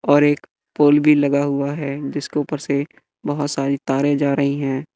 और एक पोल भी लगा हुआ है जिसके उपर से बहोत सारी तारे जा रही है।